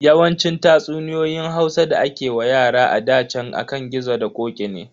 Yawancin tatsuniyoyin Hausa da ake wa yara a ɗa chan akan gizo da ƙoƙi ne.